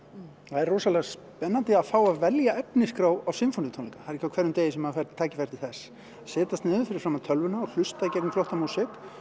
það er rosalega spennandi að fá að velja efnisskrá á sinfoníutónleika það er ekki á hverjum degi sem maður fær tækifæri til þess setjast niður fyrir framan tölvuna hlusta gegnum flotta músík